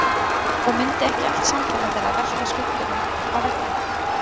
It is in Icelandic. Og mundi ekki allt samfélag þeirra velta á skuggunum á veggnum?